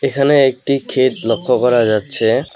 এখানে একটি ক্ষেত লক্ষ্য করা যাচ্ছে।